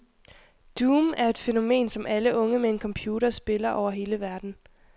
Doom er et fænomen, som alle unge med en computer spiller over hele verden.